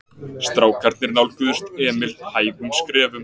Strákarnir nálguðust Emil hægum skrefum.